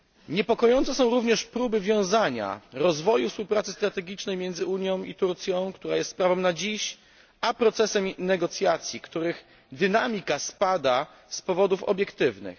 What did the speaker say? Niepokojące są również próby wiązania rozwoju współpracy strategicznej między Unią a Turcją, która jest sprawą na dziś, z procesem negocjacji, których dynamika spada z powodów obiektywnych.